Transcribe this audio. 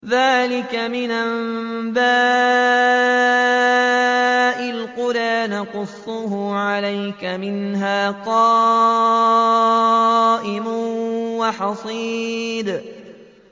ذَٰلِكَ مِنْ أَنبَاءِ الْقُرَىٰ نَقُصُّهُ عَلَيْكَ ۖ مِنْهَا قَائِمٌ وَحَصِيدٌ